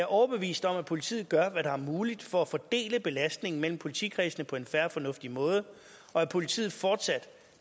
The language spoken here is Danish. overbevist om at politiet gør hvad der er muligt for at fordele belastningen mellem politikredsene på en fair og fornuftig måde og at politiet fortsat